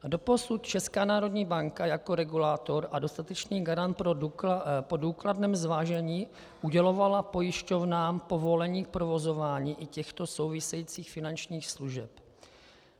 Doposud Česká národní banka jako regulátor a dostatečný garant po důkladném zvážení udělovala pojišťovnám povolení k provozování i těchto souvisejících finančních služeb.